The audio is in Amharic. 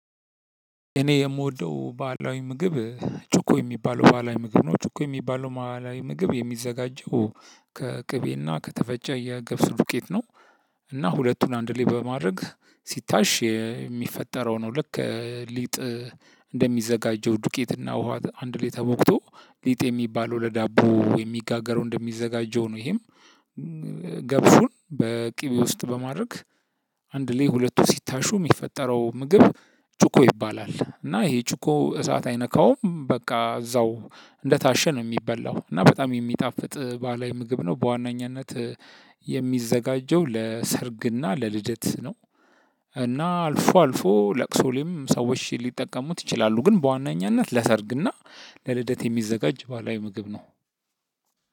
እኔ የምወደው ባህላዊ ምግብ ጩቆ የሚባለው ባህላዊ ምግብ ነው። ጩቆ የሚባለው ባህላዊ ምግብ የሚዘጋጀው ከቅቤና ከተፈጨ የገብስ ዱቄት ነው። እና ሁለቱን አንድ ላይ በማድረግ ሲታሽ የሚፈጠረው ነው ልክ ሊጥ እንደሚዘጋጀው ዱቄትና ውሃ አንድ ላይ ተቦክቶ ሊጥ የሚባለው ለዳቦ የሚጋገረው እንደሚዘጋጀው ነው ይሄም ገብሱን በቅቤ ውስጥ በማድረግ አንድ ላይ ሁለቱ ሲታሹ የሚፈጠረው ምግብ ጩቆ ይባላል። እና ይሄ ጩቆ እሳት አይነካውም። በቃ እዛው እንደታሸ ነው የሚበላው እና በጣም የሚጣፍጥ ባህላዊ ምግብ ነው። በዋነኝነት የሚዘጋጀው ለሰርግና ለልደት ነው። እና አልፎ አልፎ ለቅሶ ላይም ሰዎች ሊጠቀሙት ይችላሉ። ግን በዋነኝነት ለሰርግ እና ለልደት የሚዘጋጅ ባህላዊ ምግብ ነው።